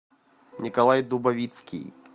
николай дубовицкий